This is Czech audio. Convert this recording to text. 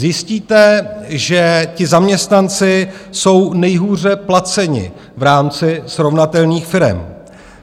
Zjistíte, že ti zaměstnanci jsou nejhůře placeni v rámci srovnatelných firem.